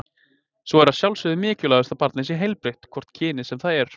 Svo er að sjálfsögðu mikilvægast að barnið sé heilbrigt, hvort kynið sem það er.